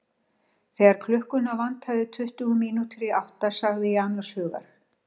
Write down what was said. Þegar klukkuna vantaði tuttugu mínútur í átta sagði ég annars hugar.